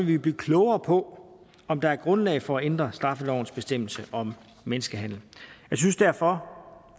vi blive klogere på om der er grundlag for at ændre straffelovens bestemmelse om menneskehandel jeg synes derfor